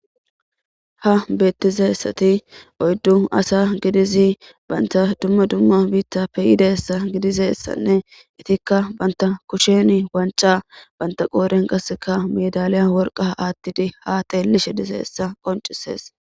Ha beettizessati oyddu asa gidizi banta dumma dumma biitta peyidassa gidizeissanne itikka banta kushen wanca banta qoodhen qasseka medaliya worqa aattidi haatelishe diseessa qoncisees.